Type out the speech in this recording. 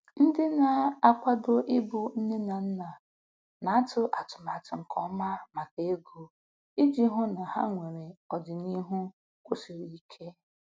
Ndị na-akwado ịbụ nne na nna na-atụ atụmatụ nke ọma maka ego iji hụ na ha nwere ọdịniihu kwụsiri ike.